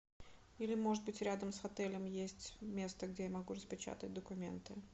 или может быть рядом с отелем есть место где я могу распечатать документы